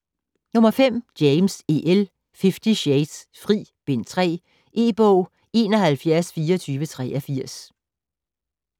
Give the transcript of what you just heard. James, E. L.: Fifty shades: Fri: Bind 3 E-bog 712483